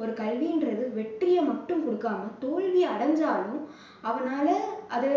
ஒரு கல்விங்கறது வெற்றியை மட்டும் கொடுக்காம தோல்வி அடைஞ்சாலும், அவனால அதை